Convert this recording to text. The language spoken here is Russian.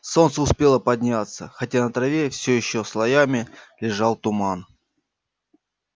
солнце успело подняться хотя на траве все ещё слоями лежал туман